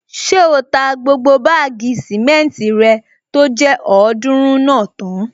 Ṣé o ta gbogbo báàgì sìmẹ́ntì rẹ tó jẹ́ ọ̀ọ́dúrún náà tán?